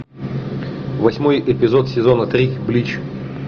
восьмой эпизод сезона три блич